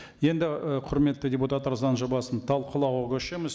енді ы құрметті депутаттар заң жобасын талқылауға көшеміз